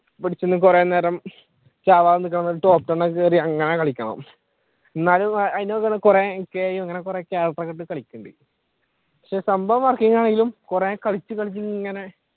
കുറെ നേരം ചാവാതെ നിക്കണം top ten ഒക്കെ കേറി അങ്ങനെ കളിക്കണം എന്നാലും എടുത്തു കളിക്കേണ്ടി വരും പക്ഷെ സംഭവം working ആണെങ്കിലും കുറെ കളിച്ചു കളിച്ചു ഇങ്ങനെ